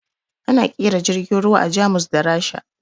Ana ƙera jirgin ruwa a Jamus da Rasha